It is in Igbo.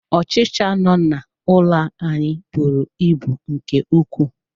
Ọchịcha no n'ụlọ ya bụrụ ịbụ nke ukwuu.